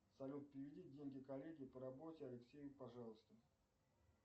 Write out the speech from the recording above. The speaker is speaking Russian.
салют переведи деньги коллеге по работе алексею пожалуйста